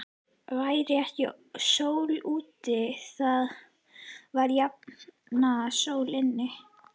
Væri ekki sól úti, þá var jafnan sól inni.